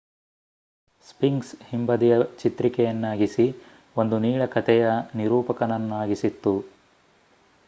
sphinx ಹಿಂಬದಿಯ ಚಿತ್ರಿಕೆಯನ್ನಾಗಿಸಿ ಒಂದು ನೀಳ ಕಥೆಯ ನಿರೂಪಕನನ್ನಾಗಿಸಿತ್ತು